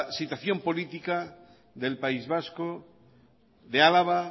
situación política del país vasco de álava